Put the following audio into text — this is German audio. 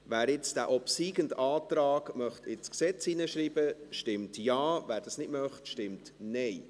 Wer jetzt den obsiegenden Antrag ins Gesetz schreiben möchte, stimmt Ja, wer das nicht möchte, stimmt Nein.